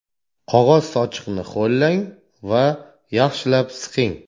Qog‘oz sochiqni ho‘llang va yaxshilab siqing.